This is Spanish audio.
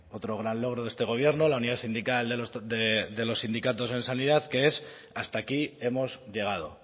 otro gran logro de este gobierno la unidad sindical de los sindicatos en sanidad que es hasta aquí hemos llegado